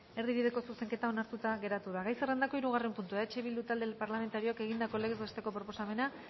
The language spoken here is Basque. erdibideko zuzenketa onartuta gelditu da gai zerrendako hirugarren puntua eh bildu talde parlamentarioak egindako legez besteko proposamena